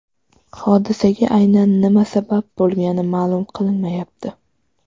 Hodisaga aynan nima sabab bo‘lgani ma’lum qilinmayapti.